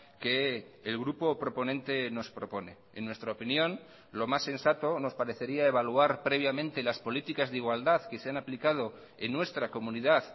que el grupo proponente nos propone en nuestra opinión lo más sensato nos parecería evaluar previamente las políticas de igualdad que se han aplicado en nuestra comunidad